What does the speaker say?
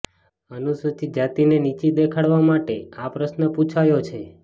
અનુસુચિત જાતિને નીચી દેખાડવા માટે આ પ્રશ્ન પૂછાયો છે